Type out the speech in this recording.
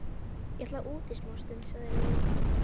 Ég ætla út í smástund, sagði Lilla.